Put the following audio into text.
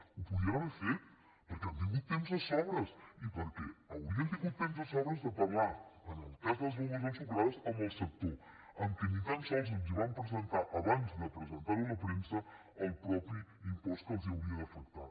ho podien haver fet perquè han tingut temps de sobres i perquè haurien tingut temps de sobres de parlar en el cas de les begudes ensucrades amb el sector a què ni tan sols el van presentar abans de presentar ho a la premsa el mateix impost que els hauria d’afectar